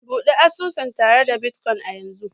Bude asusu tare da bitcoin a yanzu